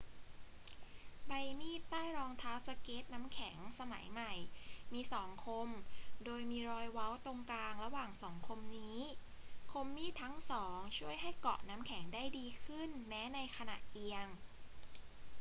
ใบมีดใต้รองเท้าสเกตน้ำแข็งสมัยใหม่มีสองคมโดยมีรอยเว้าตรงกลางระหว่างสองคมนี้ คมมีดทั้งสองช่วยให้เกาะน้ำแข็งได้ดีขึ้นแม้ในขณะเอียง